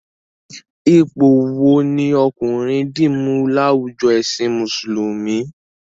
Ipò wo ni ọkùnrin dì mú láwùjo ẹ̀sìn Mùsùlùmí?